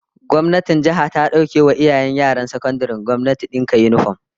Gwamnatin jiha ta dauke wa iyayen yaran sakandaren gwamnati dinka yinifom, yana kan gwamnati